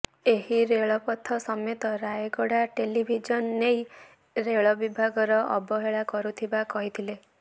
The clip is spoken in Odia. ଏହି ରେଳପଥ ସମେତ ରାୟଗଡା ରେଳଡିଭିଜନ ନେଇ ରେଳବିଭାଗର ଅବହେଳା କରୁଥିବା କହିଥିଲେ